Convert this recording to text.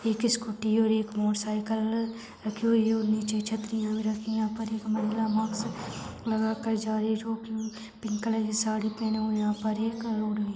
एक स्कूटी और एक मोटरसाइकल रखी हुई है और निचे छतररिया भी रखी है यहाँ पर एक महिला मास्क लगा कर जा रही है जोकि पिंक कलर साड़ी पहनी हुए है और यहाँ पर एक रोड भी है।